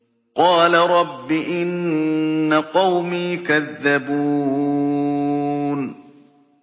قَالَ رَبِّ إِنَّ قَوْمِي كَذَّبُونِ